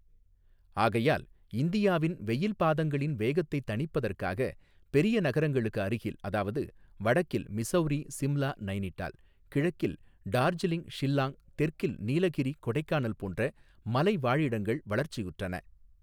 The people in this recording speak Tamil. ஆகையால் இந்தியாவின் வெயில் பாதங்களின் வேகத்தை தனிப்பதற்காக பெரிய நகரங்களுக்கு அருகில் அதாவது வடக்கில் மிசௌரி சிம்லா நைனிடால் கிழக்கில் டாாஜிலிங் ஷில்லாங் தெற்கில் நீலகிரி கொடைக்கானல் போன்ற மலை வாழிடங்கள் வளர்ச்சியுற்றன.